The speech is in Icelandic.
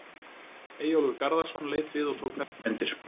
Eyjólfur Garðarsson leit við og tók þessar myndir.